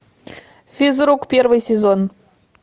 физрук первый сезон